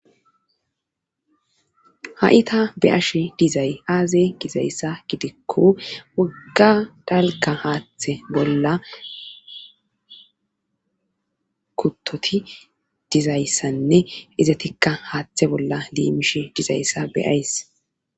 Ha7ita be ashe dizay aaze gizayssa gidikko wogga dalka haaththe bolla kuttoti dizayssanne izatikka haaththe bolla liimishe dizayssa beyays.